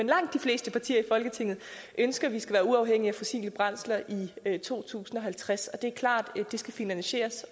langt de fleste partier i folketinget ønsker at vi skal være uafhængige af fossile brændsler i i to tusind og halvtreds det er klart at det skal finansieres